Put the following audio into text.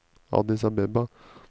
Addis Abeba